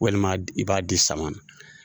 Walima i b'a di sama na.